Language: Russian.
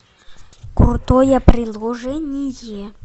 крутое приложение